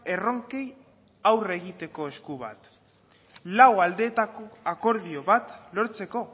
erronkei aurre egiteko esku bat lau aldeetako akordio bat lortzeko